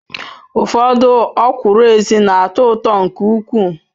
Ufodu okwuru ezi na-ato uto nke ukwu